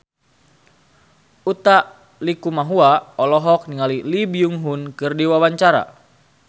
Utha Likumahua olohok ningali Lee Byung Hun keur diwawancara